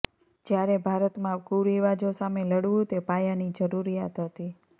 જ્યારે ભારતમાં કુરિવાજો સામે લડવું તે પાયાની જરૂરિયાત હતી